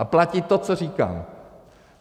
A platí to, co říkám.